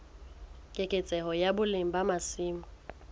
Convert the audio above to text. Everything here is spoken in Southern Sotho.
keketseho ya boleng ba masimo